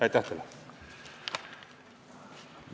Aitäh teile!